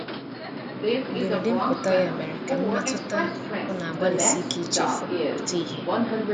mgberede mputa ya mere ka mmetụta ọ na agbali sike ichefu pụta ihe